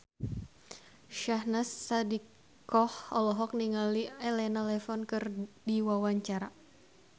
Syahnaz Sadiqah olohok ningali Elena Levon keur diwawancara